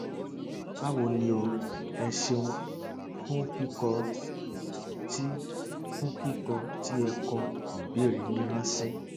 báwo ni o ẹ ṣeun fún kíkọ tí fún kíkọ tí ẹ kọ ìbéèrè yín ránṣẹ